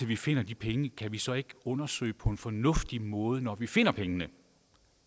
vi finder de penge kan vi så ikke undersøge på en fornuftig måde når vi finder pengene